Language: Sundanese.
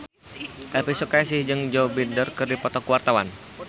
Elvi Sukaesih jeung Joe Biden keur dipoto ku wartawan